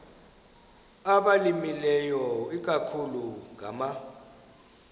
abalimileyo ikakhulu ngama